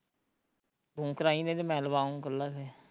ਤੂੰ ਕਰਾਈ ਨਹੀਂ ਤੇ ਮੈਂ ਲਵਾਂ ਆਉ ਕੱਲਾ ਫੇਰ